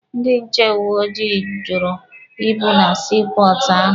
Ndị nche uwe ojii jụrụ ịpụ na sii pọọtụ ahụ.